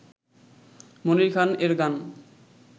মনির খান এর গান